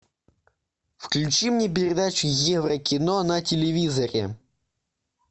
включи мне передачу еврокино на телевизоре